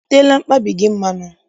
I teela mkpabi gị mmanụ?